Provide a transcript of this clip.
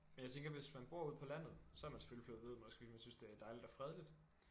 Men jeg tænker hvis man bor ude på landet så er man selvfølgelig flyttet derud måske fordi man synes det er dejligt og fredeligt